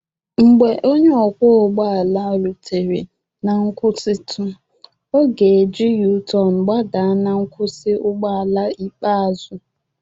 Mgbe onye ọkwọ ụgbọ ala rutere na nkwụsịtụ, ọ ga-eji u-turn gbadaa na nkwụsị ụgbọ ala ikpeazụ